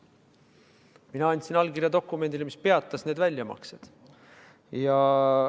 Mina andsin allkirja dokumendile, mis peatas need väljamaksed.